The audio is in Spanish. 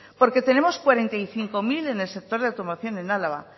porque tenemos cuarenta y cinco mil en el sector de automoción en álava